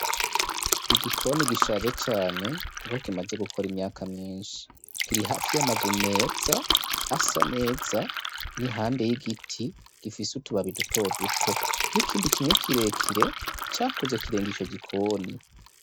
Igikoni gishaje cane, kuko kimaze gukora imyaka myinshi kiri hafi y’ amazu meza asa neza n'iruhande y'igiti gifise utubaba dutoduto n'ikindi kimwe kirekire cakuze kirenga ico gikoni.